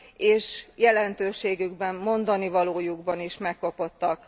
és jelentőségükben, mondanivalójukban is megkopottak.